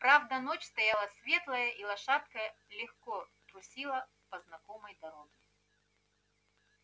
правда ночь стояла светлая и лошадка легко трусила по знакомой дороге